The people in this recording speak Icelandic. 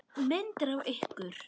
Myndir af ykkur.